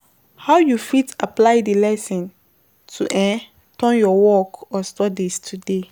How you fit apply di lesson to um your work or studies today?